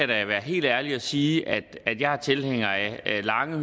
da være helt ærlig og sige at jeg er tilhænger af lange